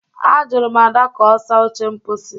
Ajụrụ m Ada ka ọ saa oche mposi